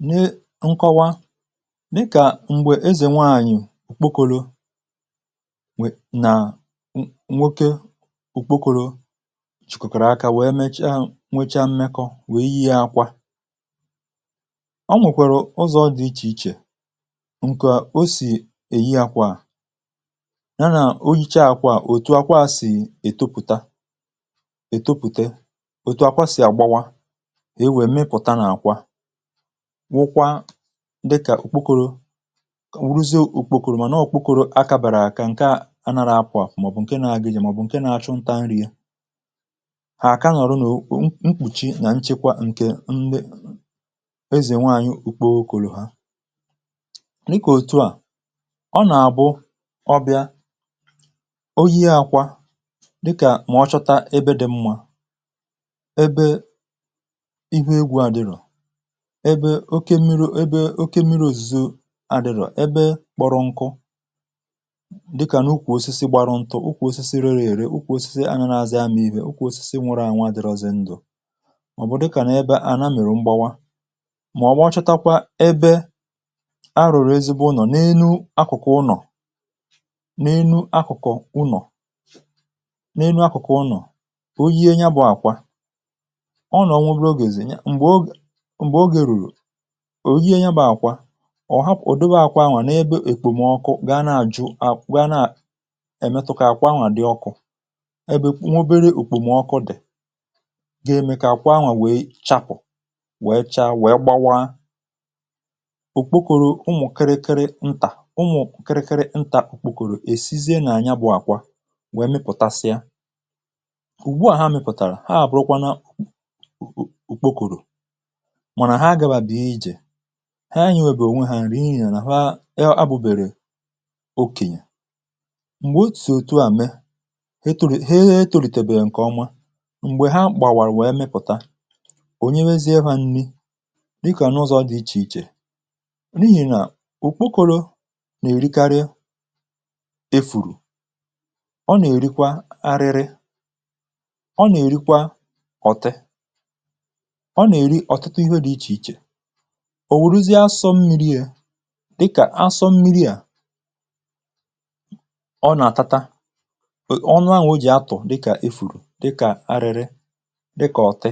nne nkọwa nke a mgbe ezè nwanyì okpokoro nwè na nwoke okpokoro chìkòkòrò aka wee mecha nwecha mmekọ wee yie akwa ọ nwèkwàrà ụzọ̀ dị ichè ichè ǹkà o sì èyi akwà ya nà o yichaa kwa òtù akwa sì ètopùta ètopùte òtù akwa sì àgbawa e nwé mmịpụta na ákwà wụkwa dịkà òkpukoro ruzi òkpukoro mà nà òkpukoro áká bàrà àkà ǹkè a anàrà akwà màọbụ̀ ǹkè na-agị jì màọbụ̀ ǹkè na-achụnta nri ya àkà nọrụ nà mkpùchi nà nchekwa ǹkè ezènwe anyị ùkpo okòlò ha dịkà òtù a ọ nà àbụ ọbịa oyi àkwà dịkà mà ọchọta ebe dị̀ mmȧ ebe oke mmiri̇ ebe oke mmiri̇ òzùzu àdịrọ̀ ebe kpọrọ nkụ dịkà n’ụkwụ̇ osisi gbara ntụ̇ ụkwụ̇ osisi rere ère ụkwụ̇ osisi angarị àzị amịbị̇ ụkwụ̇ osisi nwere ànwà dịrọzị ndụ̇ ọ̀ bụ̀ dịkà n’ebe àna mèrè mgbawa mà ọ̀ wachotekwa ebe arụ̀rụ̀ ezigbo ụnọ̀ n’enu akụ̀kụ ụnọ̀ n’enu akụ̀kọ̀ ụnọ̀ n’enu akụ̀kụ̀ ụnọ̀ o yiė ya bụ̇ àkwa ọ nọ̀ ọ nwụrụ o gèzènye òyi ènyẹbȧ àkwa ọ̀ hapụ̀ dowe àkwa n’ebe èkpòmọkụ gaa na àjụ à gaa na èmetụ̇kà àkwaà dị ọkụ̇ ẹ bụ nwobere òkpòmọkụ dị̀ gẹ mẹ kà àkwaa àkwaa we chàpụ̀ we chaa we gbawa òkpokòrò ụmụ̀ kịrịkịrị ntà ụmụ̀ kịrịkịrị ntà òkpòkòrò èsie nà ànyabụ̇ àkwa wẹ mịpụ̀tasịa ụ̀gwụ à ha mịpụ̀tàrà ha àbụrụkwa na he e nyè wèrè ònwè hȧ nrì inyè nà ha e abụ̇bèrè okènyè m̀gbè o tù òtù à me he tùrù he he tùrùtù ètèrè ǹkẹ̀ ọnwa m̀gbè ha gbàwàrụ̀ wèe mịpụ̀ta onyewezie hȧ nni dịkà n’ụzọ̇ dị ichè ichè n’ihì nà ụkpụkọrụ nà-èrikarị efùrù ọ nà-èrikwa arịrị ọ nà-èrikwa ọ̀tị òwùrụzi asọ̇ mmiri è dikà asọ̇ mmiri à ọ nà-àtata ọnụ ahụ̀ o jì atọ̀ dikà efùrù dikà arịrị dịkà ọtị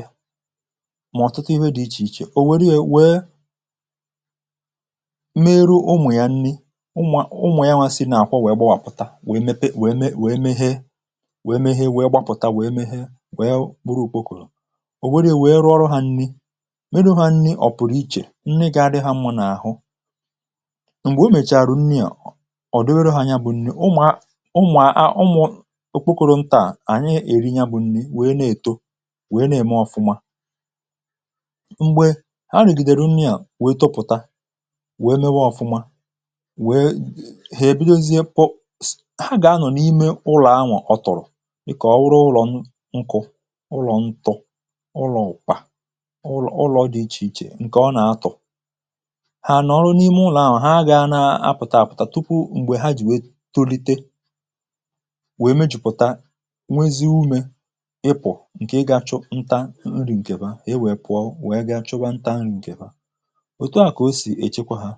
mà ọ̀tụtụ ihe dị̇ ichè ichè ò wère wee meru unwè ya nni unwà unwà ya nwa si nà-àkwọ wèe gbawàpụ̀ta wèe mee wèe mee wèe gbapụ̀ta wèe mee wèe gburu òkpokòlù ǹni gà-adị̇ hȧ m̀mụnà àhụ ǹgwè o mèchàrà ǹni à ọ̀ dịwere hȧ ya bụ̇ ǹni, ụmụ̀ a ụmụ̀ okpokoro ntȧà ànyị èri ya bụ̇ ǹni wèe na-èto wèe na-ème ọfụma mgbè ha rìgìdèru ǹni à wèe topùta wèe mewe ọfụma wèe hà èbidozie pụọ, ha gà-anọ̀ n’ime ụlọ̀ anwụ̇ ọtụ̀rụ̀ ị̀ kà ọrụ ụlọ̇ nkụ̇ ụlọ̀ ntọ ụlọ̀ ụkpà ha nà ọrụ n’ime ụlọ̀ ahụ̀ ha gà-ana pụ̀ta àpụ̀ta tupu m̀gbè ha jì wèe tolite wèe mejùpụ̀ta nwezi umė ịpụ̀ ǹke ị gȧ chụ nta nri ǹkèba e wèe pụọ wèe ga chụgwa nta nri̇ ǹkèba òtu a kà o sì èchekwa ha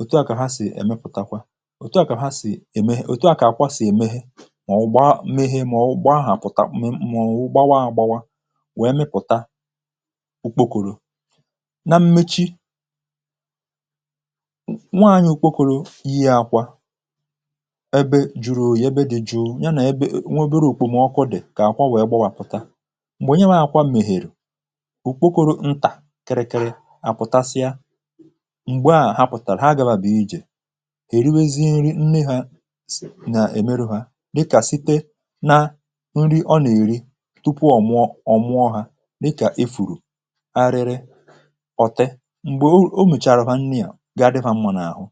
òtu a kà ha sì èmepụ̀takwa òtu a kà ha sì èmé ha òtu a kà àkwa sì èmehe mà ọ̀ gba mehe mà ọ̀ gba ahụ̀ pụ̀ta mà ọ̀ gbawa agbawa wèe mepụ̀ta na mmechi nwaanyị̀ ukwokoro ihe akwa ebe juru, ebe dị jụụ ya na nweberù okpomọkụ dị̀ ka akwa wee gbawapụta mgbe nye ha akwa mèhèrè ukwokoro ntà kịrịkịrị apụtasịa m̀gbe à ha pụtara ha gȧbà bụ̀ ijè èriwezi nri nni hȧ s nà èmeru hȧ nà ike site na nri ọ nà èri tupu ọ mụọ ọ̀mụọ hȧ n’ịkà efùrù ọ̀tị m̀gbè o mèchàrà ha nni à ga-adị̇ fa mmụ̇nụ̇ àhụ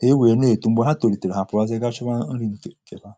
ha e wèe na-ètù m̀gbè ha tòlìtèrè ha pụ̀rụazị gaa chụpụ̀ nri n’ìfèrè kewaa.